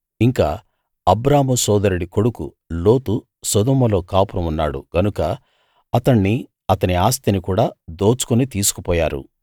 ఇంకా అబ్రాము సోదరుడి కొడుకు లోతు సొదొమలో కాపురం ఉన్నాడు గనుక అతణ్ణి అతని ఆస్తిని కూడా దోచుకుని తీసుకుపోయారు